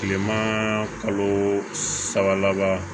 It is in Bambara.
Kilema kalo saba laban